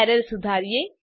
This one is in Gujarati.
એરર સુધારીએ